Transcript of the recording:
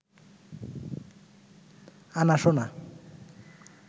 আনা সোনা